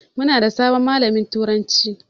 Muna da sabon malamin turanci.